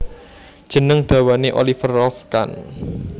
Jeneng dawane Oliver Rolf Kahn